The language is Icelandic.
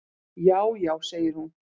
"""Já, já segir hún."""